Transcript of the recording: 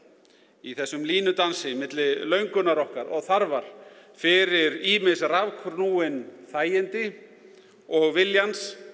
í þessum línudansi milli löngunar okkar og þarfar fyrir ýmis rafknúin þægindi og viljans